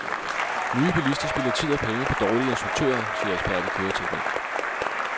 Nye bilister spilder tid og penge på dårlige instruktører, siger ekspert i køreteknik.